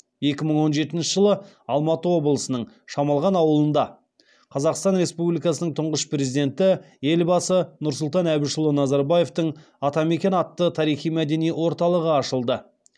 екі мың он жетінші жылы алматы облысының шамалған ауылында қазақстан республикасының тұңғыш президенті елбасы нұрсұлтан әбішұлы назарбаевтың атамекен атты тарихи мәдени орталығы ашылды